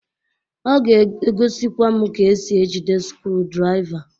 Ọ ga egosikwa m ka esi ejide skrudraỊva.